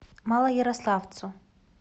малоярославцу